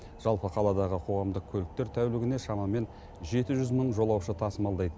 жалпы қаладағы қоғамдық көліктер тәулігіне шамамен жеті жүз мың жолаушы тасымалдайды